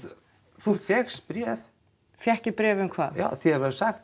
þú fékkst bréf fékk ég bréf um hvað já þér var sagt